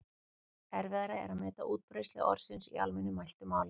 Erfiðara er að meta útbreiðslu orðsins í almennu mæltu máli.